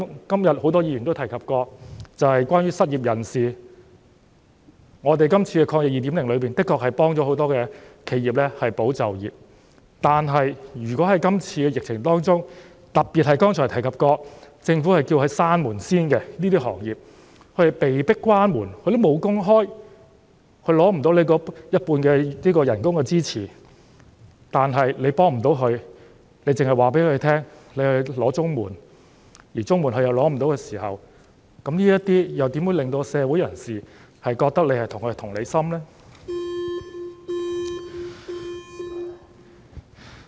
今天很多議員也提及失業人士，我們今次的"防疫抗疫基金 2.0" 的確能夠幫助很多企業和保住員工的就業，但如果在今次疫情中，特別是剛才提及政府要求他們先暫停營業的行業，他們被迫關門，根本無工開，無法申請員工工資一半的資助，但政府又不能向他們提供協助，只是叫他們申請綜合社會保障援助，而如果他們無法申請綜援的時候，又如何能夠令社會人士覺得政府對他們有同理心呢？